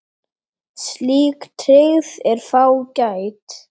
Slík tryggð er fágæt.